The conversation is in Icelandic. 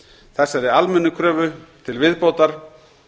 þessari almennu kröfu til viðbótar